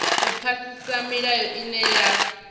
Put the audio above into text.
u phasisa milayo ine ya